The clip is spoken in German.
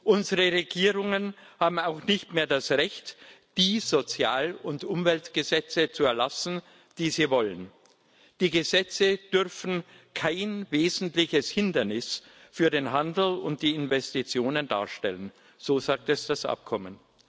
Unsere Regierungen haben auch nicht mehr das Recht, die Sozial und Umweltgesetze zu erlassen, die sie wollen. Die Gesetze dürfen kein wesentliches Hindernis für den Handel und die Investitionen darstellen, so sagt es das Abkommen.